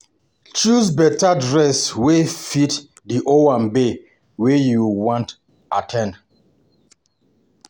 Choose better dress wey fit di owambe wey you wan at ten d